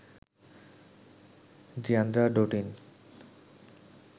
Deandra ডোটিন